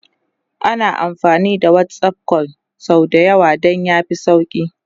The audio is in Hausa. ana amfani da WhatsApp call sau da yawa Dan ya fi sauki